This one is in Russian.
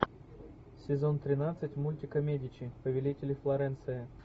сезон тринадцать мультика медичи повелители флоренции